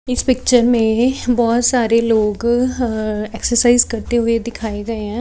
इस पिक्चर में बहोत सारे लोग एक्सरसाइज करते हुए दिखाए गए हैं।